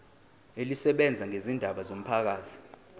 elisebenza ngezindaba zomphakathi